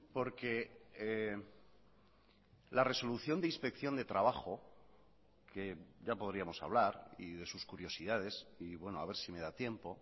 porque la resolución de inspección de trabajo que ya podríamos hablar y de sus curiosidades y bueno a ver si me da tiempo